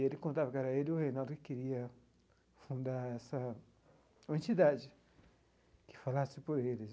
Ele contava que era ele e o Reinaldo que queria fundar essa uma entidade, que falasse por eles.